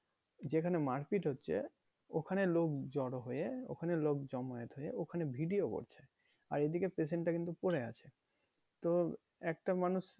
যেখানে মারপিট হচ্ছে ওখানে লোক জোড়ো হয়ে ওখানে লোক জমায়েত হয়ে ওখানে video করছে। আর এদিকে patient টা কিন্তু পড়ে আছে। তো একটা মানুষ